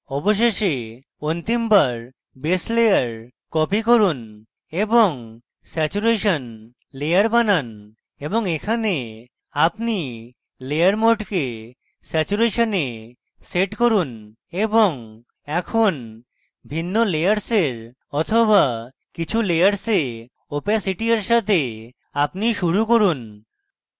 অবশেষে অন্তিমবার base layer copy করুন এবং স্যাচুরেশন layer বানান এবং এখানে আপনি layer mode কে saturation a set করুন এবং এখন ভিন্ন layers বা কিছু layers opacity এর সাথে আপনি শুরু করুন